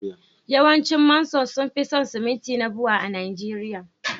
yawancin Manson sun fi son siminti na Bua a Najeriya